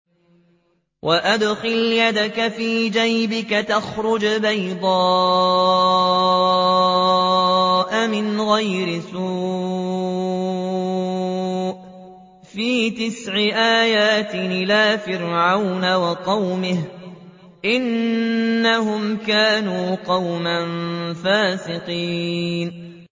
وَأَدْخِلْ يَدَكَ فِي جَيْبِكَ تَخْرُجْ بَيْضَاءَ مِنْ غَيْرِ سُوءٍ ۖ فِي تِسْعِ آيَاتٍ إِلَىٰ فِرْعَوْنَ وَقَوْمِهِ ۚ إِنَّهُمْ كَانُوا قَوْمًا فَاسِقِينَ